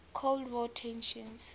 cold war tensions